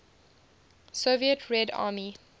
soviet red army